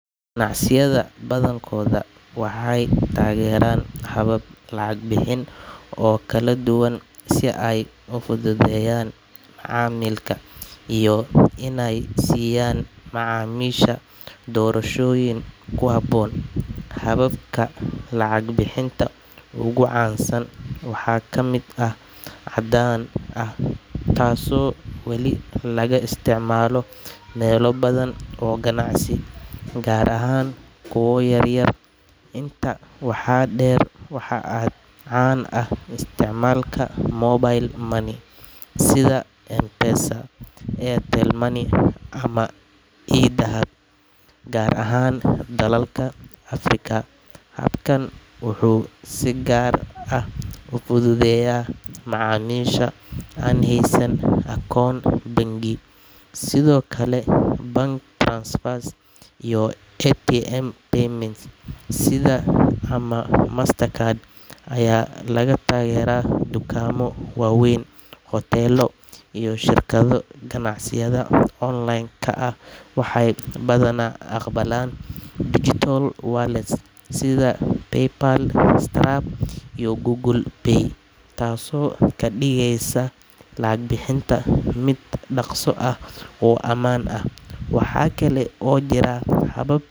Macsiyaada badankoda waxee tageran habab lacag bixin oo kala duwan si ee ufududeyan macamilka iyo in ee siyan macamisha dorashoyin kuhabo, hababka lacag bixinta waxaa kamiid ah cadan ah taso wali laga istimala ganacsiga yar yar, gar ahan dalalka africa, sitha ama master card waxaa kale oo jiraa bhabab.